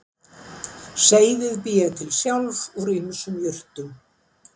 Seyðið bý ég til sjálf úr ýmsum jurtum